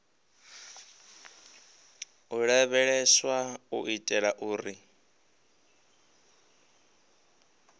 u lavheleswa u itela uri